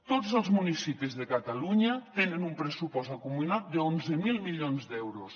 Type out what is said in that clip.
tots els municipis de catalunya tenen un pressupost acumulat d’onze mil milions d’euros